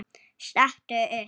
Stattu upp!